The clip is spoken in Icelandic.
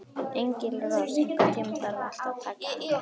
Engilrós, einhvern tímann þarf allt að taka enda.